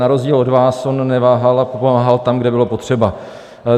Na rozdíl od vás on neváhal a pomáhal tam, kde bylo potřeba.